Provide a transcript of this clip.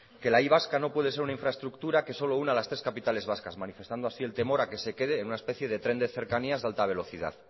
que la y vasca no puede ser una infraestructura que solo una las tres capitales vascas manifestando así el temor a que se quede en una especie de tren de cercanías de alta velocidad